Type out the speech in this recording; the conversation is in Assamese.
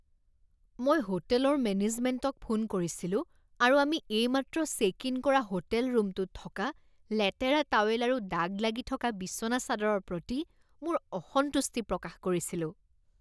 মই হোটেলৰ মেনেজমেণ্টক ফোন কৰিছিলো আৰু আমি এইমাত্ৰ চেক ইন কৰা হোটেল ৰুমটোত থকা লেতেৰা টাৱেল আৰু দাগ লাগি থকা বিচনা চাদৰৰ প্ৰতি মোৰ অসন্তুষ্টি প্ৰকাশ কৰিছিলো।